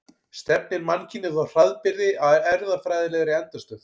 Stefnir mannkynið þá hraðbyri að erfðafræðilegri endastöð?